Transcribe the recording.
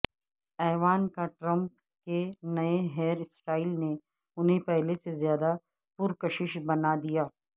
Ivanka Trump کے نئے hair style نے انہیں پہلے سے زیادہ پرکشش بنا دیا